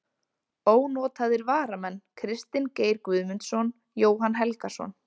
Ónotaðir varamenn: Kristinn Geir Guðmundsson, Jóhann Helgason.